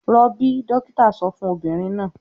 "Rọbí!" dọ́kítá sọ fún obìnrin náà.